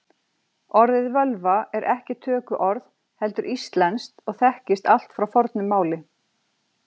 Orðið völva er ekki tökuorð heldur íslenskt og þekkist allt frá fornu máli.